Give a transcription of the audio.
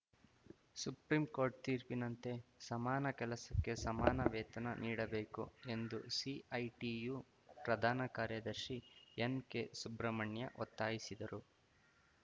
supreme court ತೀರ್ಪಿನಂತೆ ಸಮಾನ ಕೆಲಸಕ್ಕೆ ಸಮಾನ ವೇತನ ನೀಡಬೇಕು ಎಂದು ಸಿಐಟಿಯು ಪ್ರಧಾನ ಕಾರ್ಯದರ್ಶಿ ಎನ್ಕೆ ಸುಬ್ರಮಣ್ಯ ಒತ್ತಾಯಿಸಿದರು